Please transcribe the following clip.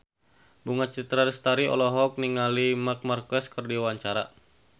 Bunga Citra Lestari olohok ningali Marc Marquez keur diwawancara